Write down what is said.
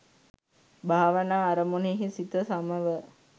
භාවනා අරමුණෙහි සිත සමව